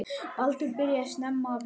Baldur byrjaði snemma að vinna.